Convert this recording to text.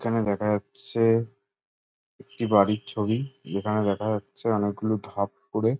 এখানে দেখা যা-চ-ছ-ত্র একটি বাড়ির ছবি এখানে দেখা যাচ্ছে অনেক গুলো ধপ করে --